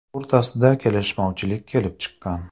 o‘rtasida kelishmovchilik kelib chiqqan.